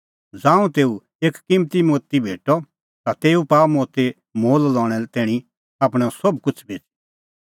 ज़ांऊं तेऊ एक किम्मती मोती भेटअ ता तेऊ पाअ मोती मोल लणें तैणीं आपणअ सोभ किछ़ बेच़ी